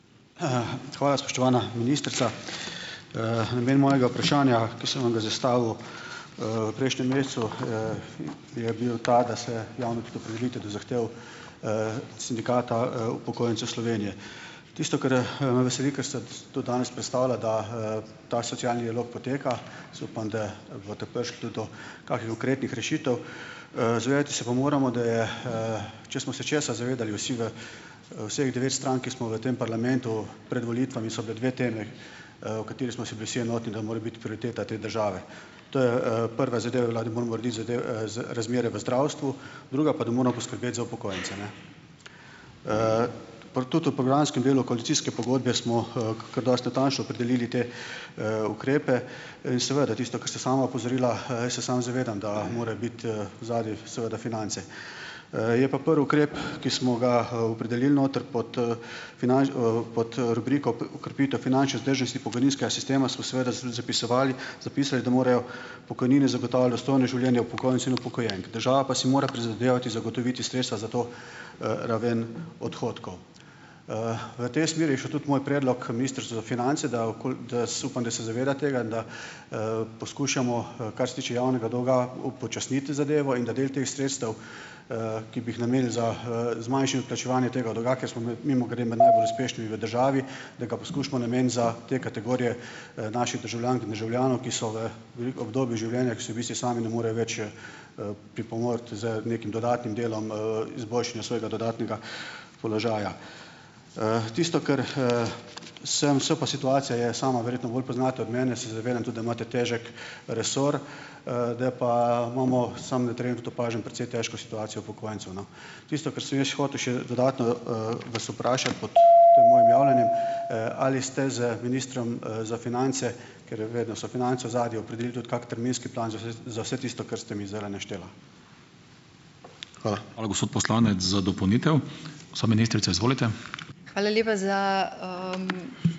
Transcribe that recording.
hvala spoštovana ministrica. namen mojega vprašanja, ki sem vam ga zastavil, v prejšnjem mesecu, je bil ta, da se javno o zahtevi, Sindikata, upokojencev Slovenije. Tisto, kar, me veseli, kar ste tudi danes predstavila, da, ta socialni rok poteka, jaz upam, da boste prišli tudi do kakih konkretnih rešitev. zavedati pa se moramo, da je, če smo se česa zavedali vsi v, vseh devet strank, ki smo v tem parlamentu, pred volitvami so bile dve temi, v kateri smo si bili vsi enotni, da mora biti prioriteta te države. To je, prva zadeva je bila, da moramo urediti razmere v zdravstvu, druga pa, da moramo skrbeti za upokojence, ne . tudi v programskem delu koalicijske pogodbe smo, kar dosti natančno opredelili te, ukrepe. seveda, tisto, kar ste sama opozorila, jaz se sam zavedam, da mora biti, ozadju seveda finance. je pa prvi ukrep, ki smo ga, opredelili noter pod, pod, rubriko okrepitev finančne vzdržnosti pokojninskega sistema, smo seveda tudi zapisovali, zapisali, da morajo pokojnine zagotavljati dostojno življenje upokojencev in upokojenk . Država pa si mora prizadevati zagotoviti sredstva za to, raven odhodkov. v tej smeri je šel tudi moj predlog Ministrstvu za finance, da da upam, da se zavedate tega, da, poskušamo, kar se tiče javnega dolga, upočasniti zadevo in da del teh sredstev, ki bi jih namenili za, zmanjšanje plačevanja tega dolga, ker smo mimogrede med najbolj uspešnimi v državi, da ga poskušamo nameniti za te kategorije, naših državljank in državljanov, ki so v veliko obdobju življenja, ko si v bistvu sami ne morejo več, pripomoči z nekim dodatnim delom, izboljšanja svojega dodatnega položaja. tisto kar, sem, so pa situacija je, sama verjetno bolj poznate od mene, se zavedam tudi, da imate težek resor, da pa imamo, samo na tudi opažam, precej težko situacijo upokojencev, no. Tisto, kar sem jaz hotel še, dodatno, vas vprašati pod tem mojim javljanjem , ali ste z ministrom, za finance, ker vedno so finance v ozadju, opredelili tudi kak terminski plan za vse tisto, kar ste mi zdajle naštela? Hvala.